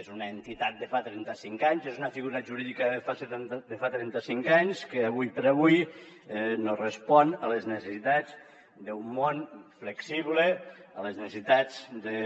és una entitat de fa trentacinc anys és una figura jurídica de fa trentacinc anys que ara per ara no respon a les necessitats d’un món flexible a les necessitats de